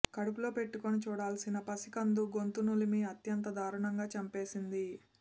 కడుపులో పెట్టుకుని చూడాల్సిన పసికందు గొంతు నులిమి అత్యంత దారుణంగా చంపేసింది